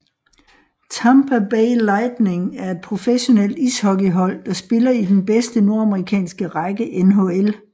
Tampa Bay Lightning er et professionelt ishockeyhold der spiller i den bedste nordamerikanske række NHL